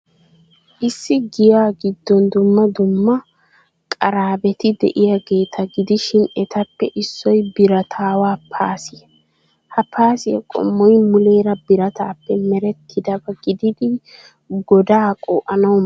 Issi giyaa giddon dumma dumma qarabati de'iyaageeta gidishin etappe issoy birataawa paasiyaa. Ha paasiyaa qommoy muuleera birataappe merettidaba gididi godaa qoo'anawu maaddees.